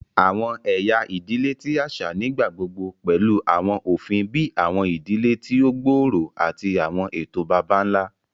Awọn ẹya idile ti aṣa nigbagbogbo pẹlu awọn ofin bii awọn idile ti o gbooro ati awọn eto baba-nla.